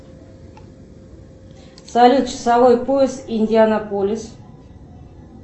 салют часовой пояс индианаполис